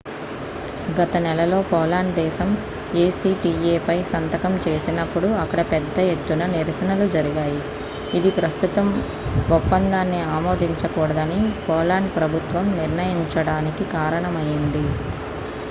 గత నెలలో పోలాండ్ దేశం ఏ సి టి ఏ పై సంతకం చేసినప్పుడు అక్కడ పెద్ద ఎత్తున నిరసనలు జరిగాయి ఇది ప్రస్తుతం ఒప్పందాన్ని ఆమోదించకూడదని పోలాండ్ ప్రభుత్వం నిర్ణయించడానికి కారణమయింది